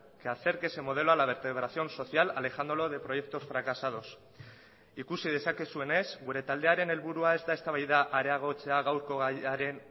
que acerque ese modelo a la vertebración social alejándolo de proyectos fracasados ikusi dezakezuenez gure taldearen helburua ez da eztabaida areagotzea gaurko gaiaren